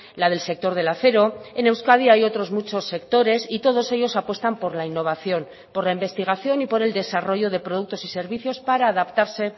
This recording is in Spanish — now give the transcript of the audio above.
la del sector del acero en euskadi hay otros muchos sectores y todos ellos apuestan por la innovación por la investigación y por el desarrollo de productos y servicios para adaptarse